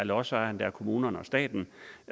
lodsejerne kommunerne og staten